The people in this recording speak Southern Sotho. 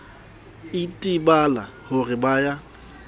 itebala ho re ba ya